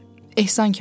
Ehsan Kəbabı.